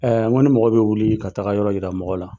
n ko ni mɔgɔ bɛ wili ka taga yɔrɔ yira mɔgɔ la